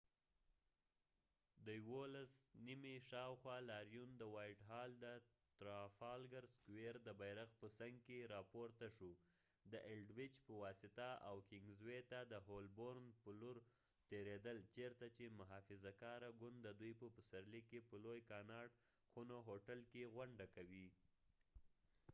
د ۲۹: ۱۱ شاوخوا، لاریون د وائټ هال، د ترافالګر سکوئر، د بیرغ په څنګ کې راپورته شو، د الډویچ په واسطه او کنگز وے ته د هولبورن په لور تیریدل چېرته چې محافظه کاره ګوند د دوی په پسرلي کې په لوی کاناټ خونو هوټل کې غونډه کوي